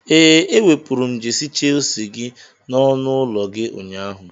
Ee, ewepụrụ m jesi shelsi gi n'ọnụ ụlọ gị ụnyaahụ.